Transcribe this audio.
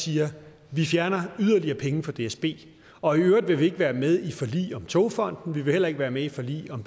siger vi fjerner yderligere penge fra dsb og i øvrigt vil vi ikke være med i forlig om togfonden dk vi vil heller ikke være med i forlig om